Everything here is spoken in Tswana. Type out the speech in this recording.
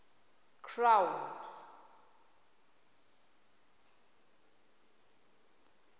crown